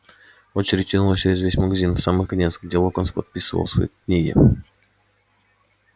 очередь тянулась через весь магазин в самый конец где локонс подписывал свои книги